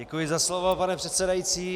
Děkuji za slovo, pane předsedající.